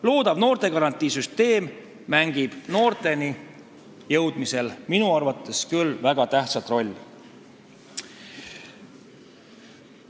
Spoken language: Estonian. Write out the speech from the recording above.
Loodav noortegarantii tugisüsteem mängib noorteni jõudmisel minu arvates küll väga tähtsat rolli.